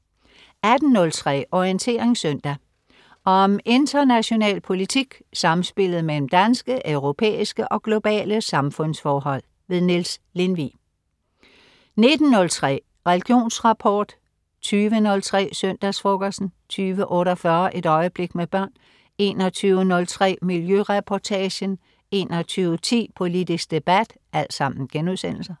18.03 Orientering søndag. Om international politik, samspillet mellem danske, europæiske og globale samfundsforhold. Niels Lindvig 19.03 Religionsrapport* 20.03 Søndagsfrokosten* 20.48 Et øjeblik med børn* 21.03 Miljøreportagen* 21.10 Politisk debat*